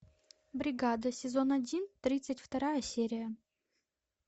бригада сезон один тридцать вторая серия